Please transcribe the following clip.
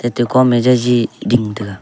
ate kom me jaji ding tega.